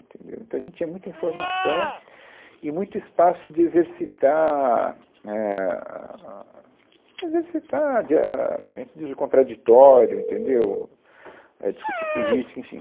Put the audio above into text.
Entendeu, Então, a gente tinha muita informação e muito espaço de exercitar, éh, ah, exercitar, de a, a gente diz, o contraditório, entendeu, é, discutir política, enfim.